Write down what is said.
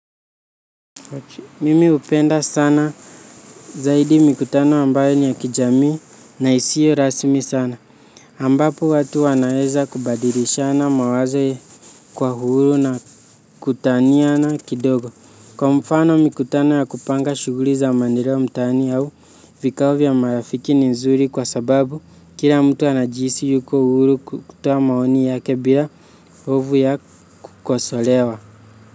Mimi hupenda sana zaidi mikutano ambayo ni ya kijamii na isiyo rasmi sana. Ambapo watu wanaweza kubadilishana mawazo kwa uhuru na kutaniana kidogo. Kwa mfano, mikutano ya kupanga shughuli za maendeleo mtaani au vikao vya marafiki ni nzuri kwa sababu kila mtu anajihisi yuko huru kutoa maoni yake bila hofu ya kukosolewa.